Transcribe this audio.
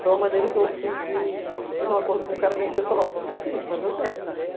Foi uma maneira que eu fiz de... Eu fiz um acordo com o cara da empresa e falei, ó, vou fazer o seguinte, vou fazer o teste.